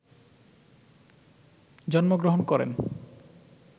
জন্মগ্রহণ করেন,